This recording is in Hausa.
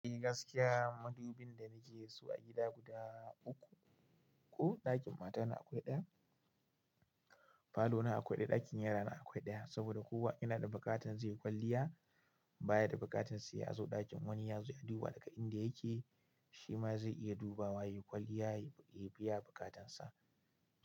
Eh gaskiya, madubin da na ke da su a gida guda uku. Ko ɗakin mata na akwai ɗaya, falo na akwai ɗaya, ɗakin yara na akwai ɗaya. Saboda kowa yana da buƙatan zai yi kwalliya. Baya da buƙatan sa ya zo ɗakin wani ya zo ya duba daga inda yake, shi ma zai iya dubawa, ya yi kwalliya, ya biya buƙatan sa.